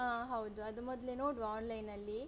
ಅಹ್ ಹೌದು ಅದು ಮೊದ್ಲೆ ನೋಡುವ online ಲಿ